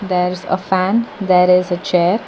there is a fan there is a chair.